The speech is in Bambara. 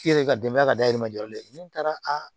I yɛrɛ ka denbaya ka dayirimɛ jɔlen tɛ ne taara a